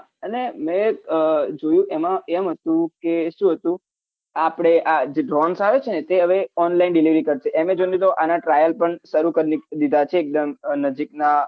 અને મેં જોયું એમાં એમ હતું કે શું હતું આપડે આ drones આવે છે ને તે હવે online delivery કરશે amazon ની તો આના trial પણ શરૂ કર દીધાં છે એકદમ નજીકના